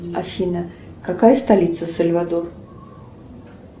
афина какая столица сальвадор